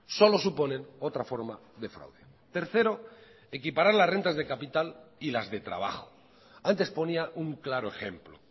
solo suponen otra forma de fraude tercero equiparar las rentas de capital y las de trabajo antes ponía un claro ejemplo